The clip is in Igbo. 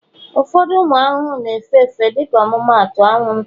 ụfọdụ ụmụ ahụhụ na-efe efe, dịka ọmụmaatụ, anwụnta,